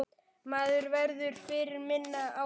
Maður verður fyrir minna álagi.